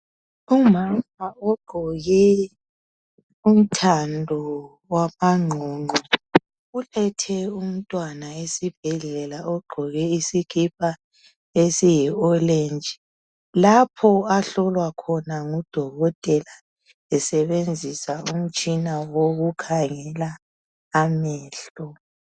Umama ogqoke umthando wamaqoqo ulethe umntwana esibhedlela ogqoke isikipa esiyi oletshi lapho ahlolwa khona ngudokotela esebenzisa umtshina wokukhangela amehlo.